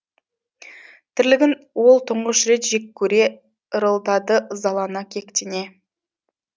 тірлігін ол тұңғыш рет жек көре ырылдады ызалана кектене